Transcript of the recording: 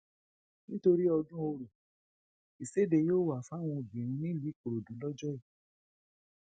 nítorí ọdún ọrọ ìṣedè yóò wà fáwọn obìnrin nílùú ìkòròdú lọjọ yìí